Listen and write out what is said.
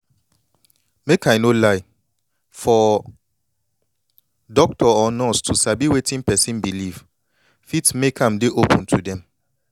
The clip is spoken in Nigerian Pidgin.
make i no lie for doctor or nurse to sabi wetin person believe fit make am dey open to dem